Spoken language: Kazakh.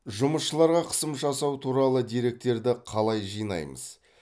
жұмысшыларға қысым жасау туралы деректерді қалай жинаймыз